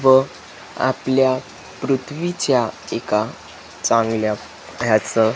व आपल्या पृथ्वीच्या एका चांगल्या ह्याच --